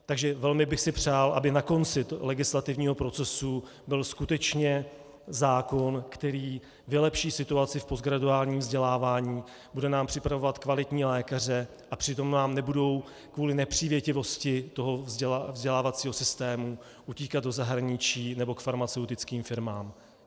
Takže velmi bych si přál, aby na konci legislativního procesu byl skutečně zákon, který vylepší situaci v postgraduálním vzdělávání, bude nám připravovat kvalitní lékaře a přitom nám nebudou kvůli nepřívětivosti toho vzdělávacího systému utíkat do zahraničí nebo k farmaceutickým firmám.